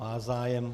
Má zájem.